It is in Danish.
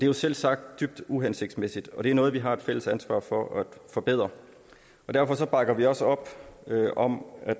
jo selvsagt dybt uhensigtsmæssigt og det er noget vi har et fælles ansvar for at forbedre derfor bakker vi også op om at